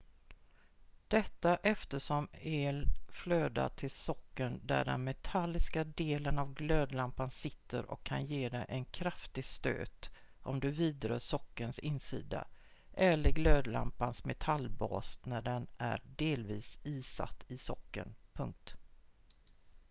detta eftersom el flödar till sockeln där den metalliska delen av glödlampan sitter och kan ge dig en kraftig stöt om du vidrör sockelns insida eller glödlampans metallbas när den är delvis isatt i sockeln